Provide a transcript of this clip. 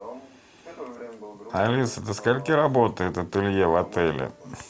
алиса до скольки работает ателье в отеле